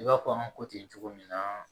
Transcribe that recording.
I b'a fɔ an ko ten cogo min na